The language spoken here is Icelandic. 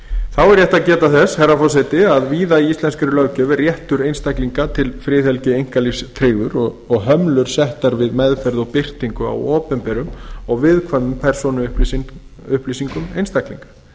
þá er rétt að geta þess herra forseti að víða í íslenskri löggjöf er réttur einstaklinga til friðhelgi einkalífs tryggður og hömlur settar við meðferð birtingu eða opinberun á viðkvæmum persónuupplýsingum einstaklinga